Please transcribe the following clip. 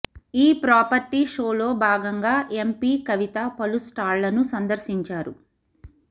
ఈ ప్రాపర్టీ షోలో భాగంగా ఎంపి కవిత పలు స్టాళ్లను సందర్శించారు